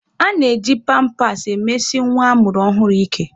A na-eji pampas emesi nwa a mụrụ ọhụrụ ike.